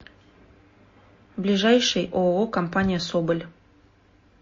ближайший ооо компания соболь